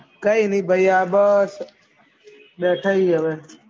કઈ નહિ ન ભૈયા બસ બેઠે હી હે બસ